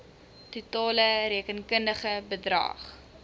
totale rekenkundige bedrag